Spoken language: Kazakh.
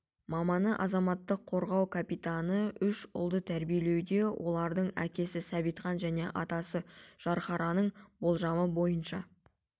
маманы азаматтық қорғау капитаны үш ұлды тәрбиелеуде олардың әкесі сәбитхан мен атасы жанхараның болжамы бойынша